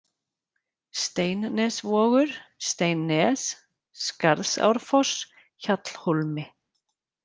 Steinnesvogur, Steinnes, Skarðsárfoss, Hjallhólmi